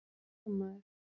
Hann var sjómaður.